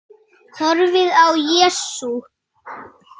Horfði á Jesú.